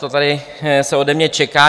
To se tady ode mě čeká.